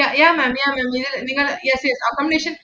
yea~ yeah ma'am yeah ma'am yeah, we have yes yes accommodation